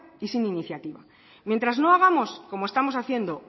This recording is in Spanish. y sin iniciativa mientras no hagamos como estamos haciendo